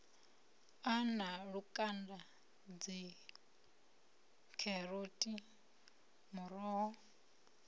a na lukanda dzikheroti muroho